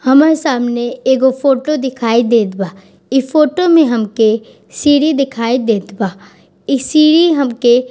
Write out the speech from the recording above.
हमर सामने एगो फोटो दिखाई देत बा इ फोटो में हमके सीढ़ी दिखाई देत बा ई सीढ़ी हमके --